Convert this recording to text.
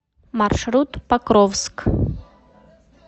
маршрут покровскъ